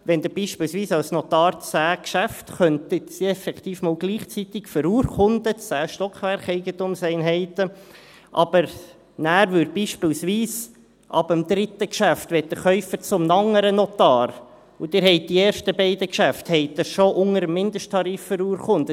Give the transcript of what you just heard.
Wenn Sie beispielsweise 10 Geschäfte effektiv einmal gleichzeitig verurkunden könnten, 10 Stockwerkeigentumseinheiten, aber nachher möchte der Käufer ab dem 3. Geschäft beispielsweise zu einem anderen Notar, aber Sie haben die ersten beiden Geschäfte schon unter dem Mindesttarif verurkundet.